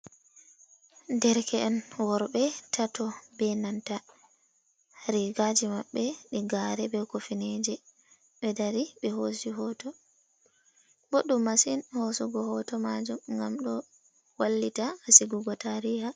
Derke’en worɓe tato, be nanta rigaaji maɓɓe e gaare, be kufneeje, ɓe dari ɓe hoosi hoto boɗɗum masin, hosugo hoto maajum ngam ɗo wallita haa sigugo taariha.